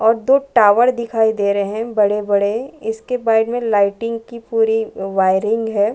और दो टॉवर दिखाई दे रहे है बड़े -बड़े इसके में लाइटिंग की पूरी वायरिंग हैं ।